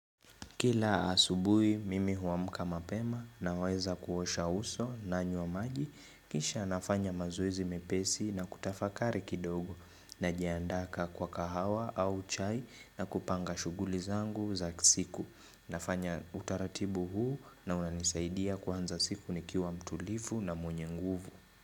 Kila asubuhi mimi huamuka mapema naweza kuosha uso na nanywa wa maji kisha nafanya maz0ezi mepesi na kutafakari kidogo najiandaa kwa kahawa au chai na kupanga shughuli zangu za siku. Nafanya utaratibu huu na unanisaidia kuanza siku nikiwa mtulivu na mwenye nguvu.